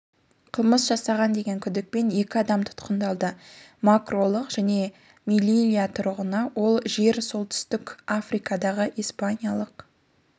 қылмыс жасаған деген күдікпен екі адам тұтқындалды мароккалық және мелильия тұрғыны ол жер солтүстік африкадағы испаниялық